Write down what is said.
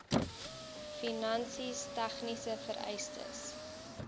finansies tegniese vereistes